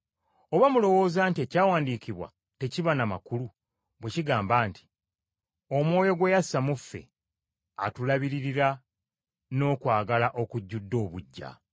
Oba mulowooza nti Ekyawandiikibwa tekiba na makulu bwe kigamba nti, “Omwoyo gwe yassa mu ffe, atulabirira n’okwagala okujjudde obuggya”?